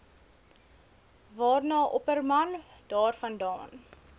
waarna opperman daarvandaan